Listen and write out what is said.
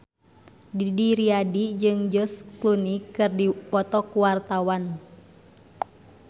Didi Riyadi jeung George Clooney keur dipoto ku wartawan